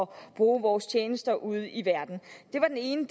bruge vores tjenester ude i verden det var den ene